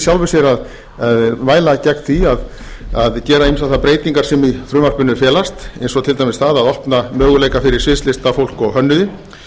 sjálfu sér að mæla gegn því að gera ýmsar þær breytingar sem í frumvarpinu felast eins og til dæmis það opna möguleika fyrir sviðslistafólk og hönnuði